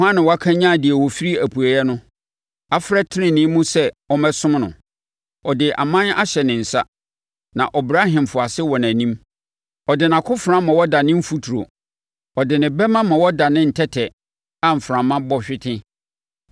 “Hwan na wakanyane deɛ ɔfiri apueeɛ no, afrɛ no tenenee mu sɛ ɔmmɛsom no? Ɔde aman hyɛ ne nsa na ɔbrɛ ahemfo ase wɔ nʼanim. Ɔde nʼakofena ma wɔdane mfuturo, ɔde ne bɛma ma wɔdane ntɛtɛ a mframa bɔ hwete.